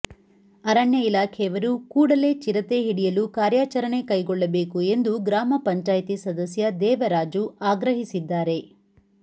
ಅರಣ್ಯ ಇಲಾಖೆಯವರು ಕೂಡಲೇ ಚಿರತೆ ಹಿಡಿಯಲು ಕಾರ್ಯಾಚರಣೆ ಕೈಗೊಳ್ಳಬೇಕು ಎಂದು ಗ್ರಾಮಪಂಚಾಯ್ತಿ ಸದಸ್ಯ ದೇವರಾಜು ಆಗ್ರಹಿಸಿದ್ದಾರೆ